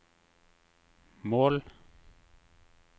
mål